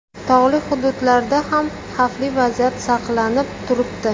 Tog‘li hududlarda ham xavfli vaziyat saqlanib turibdi.